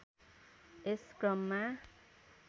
यस क्रममा